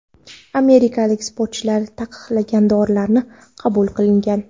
Amerikalik sportchilar taqiqlangan dorilarni qabul qilgan.